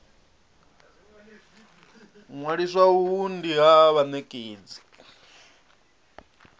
ṅwalisa uhu ndi ha vhanekedzi